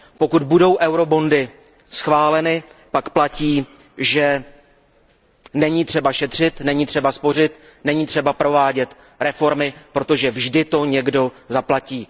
Pokud budou eurobondy schváleny, pak platí, že není třeba šetřit, není třeba spořit, není třeba provádět reformy, protože vždy to někdo zaplatí.